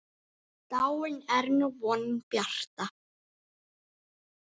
Dáin er nú vonin bjarta.